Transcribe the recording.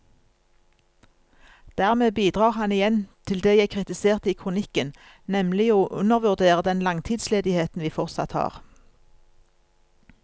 Dermed bidrar han igjen til det jeg kritiserte i kronikken, nemlig å undervurdere den langtidsledigheten vi fortsatt har.